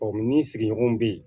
ni sigiɲɔgɔn bɛ yen